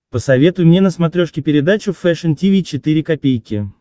посоветуй мне на смотрешке передачу фэшн ти ви четыре ка